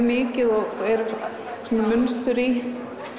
mikið og gera munstur í